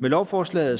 med lovforslaget